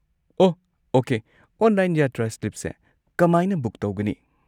ꯑꯣꯍ okay, online ꯌꯥꯇ꯭ꯔꯥ ꯁ꯭ꯂꯤꯞꯁꯦ ꯀꯃꯥꯏꯅ ꯕꯨꯛ ꯇꯧꯒꯅꯤ?